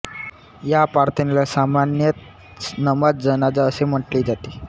या प्रार्थनेला सामान्यतः नमाज जनाजा असे म्हटले जाते